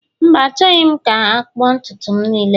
mba, Achọghị m ka akpụ ntutu m niile